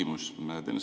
Mul on küsimus.